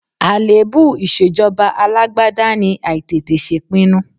Àléébù ìṣèjọba alágbádá ni àìtètè ṣèpinnu.